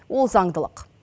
ол заңдылық